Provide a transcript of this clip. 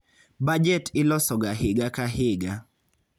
Bajet ilosoga higa ka higa.